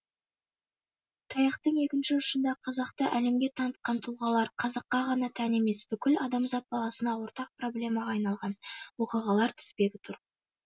таяқтың екінші ұшында қазақты әлемге танытқан тұлғалар қазаққа ғана тән емес бүкіл адамзат баласына ортақ проблемаға айналған оқиғалар тізбегі тұр